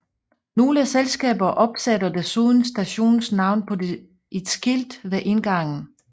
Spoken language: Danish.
Nogle selskaber opsætter desuden stationens navn på et skilt ved indgangen